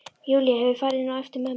Júlía hefur farið inn á eftir mömmu.